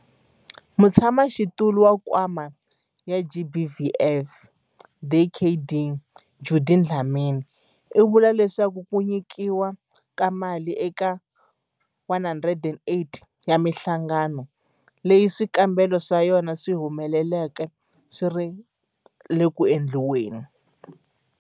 Mutshamaxitulu wa Nkwama wa GBVF, Dkd Judy Dlamini, u vule leswaku ku nyikiwa ka mali eka 108 wa mihlangano leyi swikombelo swa yona swi humeleleke swi le ku endliweni.